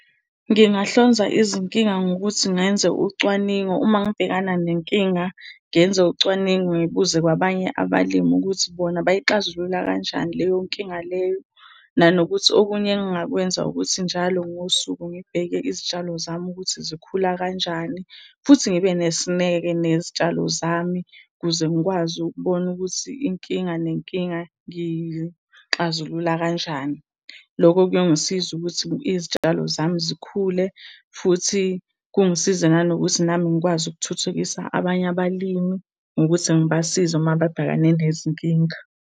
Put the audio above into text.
Ngingahlonza izinkinga ngokuthi ngenze ucwaningo. Uma ngibhekana nenkinga ngenze ucwaningo ngibuze kwabanye abalimi ukuthi bona bayixazulula kanjani leyo nkinga leyo. Nanokuthi, okunye engingakwenza ukuthi njalo ngosuku ngibheke izitshalo zami ukuthi zikhula kanjani? Futhi ngibe nesineke nezitshalo zami ukuze ngikwazi ukubona ukuthi inkinga nenkinga ngiyixazulula kanjani. Loko kuyongisiza ukuthi izitshalo zami zikhule, futhi kungisize nangokuthi nami ngikwazi ukuthuthukisa abanye abalimi ngokuthi ngibasize uma bebhekane nezinkinga.